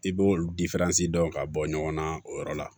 I b'o dɔn ka bɔ ɲɔgɔn na o yɔrɔ la